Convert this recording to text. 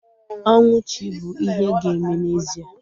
Ọnwụ chi bụ ihe ga-eme n'ezie